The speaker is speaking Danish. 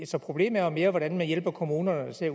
så problemet er jo mere hvordan man hjælper kommunerne til at